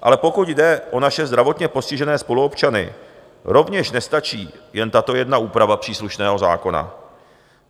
Ale pokud jde o naše zdravotně postižené spoluobčany, rovněž nestačí jen tato jedna úprava příslušného zákona.